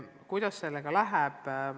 Kuidas sellega läheb?